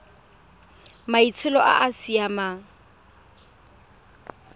maitsholo a a sa siamang